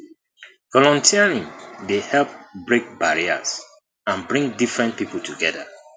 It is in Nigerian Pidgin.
volunteering dey help break barriers and bring different people together